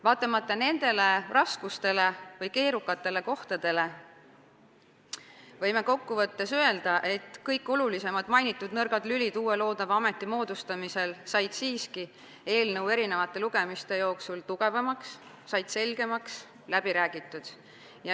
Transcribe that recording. Vaatamata nendele raskustele või keerukatele kohtadele võib kokkuvõttes öelda, et kõik olulisemad nõrgad lülid uute ametite moodustamisel said eelnõu eri lugemiste jooksul tugevamaks, said selgemaks, läbi räägitud.